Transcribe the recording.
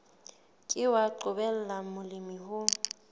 ke wa qobella molemi ho